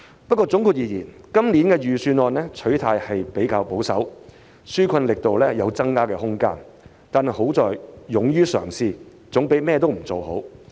不過，總括而言，今年預算案取態比較保守，紓困力度有增加的空間，但其優點是勇於嘗試，總較甚麼也不做為好。